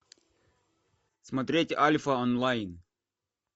смотреть альфа онлайн